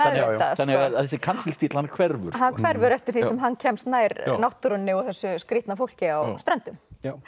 þannig að þessi kansellístíll hann hverfur hann hverfur eftir því sem hann kemst nær náttúrunni og þessu skrýtna fólki á Ströndum